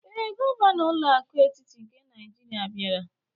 Ee, gọvanọ ụlọ akụ etiti nke Naijiria bịara.